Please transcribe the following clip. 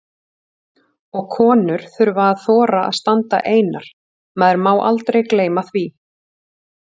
Og konur þurfa að þora að standa einar, maður má aldrei gleyma því!